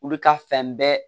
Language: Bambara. Olu ka fɛn bɛɛ